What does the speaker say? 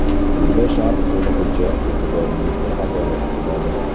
Quyida sharh to‘lig‘icha e’tiboringizga havola etiladi.